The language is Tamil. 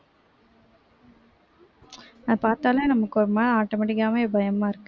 அத பார்த்தாலே நமக்கு ஒருமாறி automatic ஆவே பயமா இருக்கு